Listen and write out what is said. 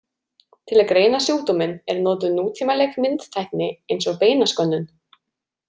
Til að greina sjúkdóminn er notuð nútímaleg myndtækni eins og beinaskönnun.